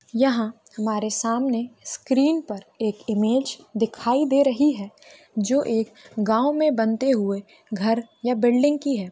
यहा हमारे सामने स्क्रीन पर एक इमेज दिखाई दे रही है जो एक गॉव मे बनते हुए घर या बिल्डिंग की है।